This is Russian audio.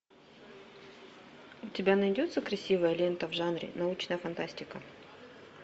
у тебя найдется красивая лента в жанре научная фантастика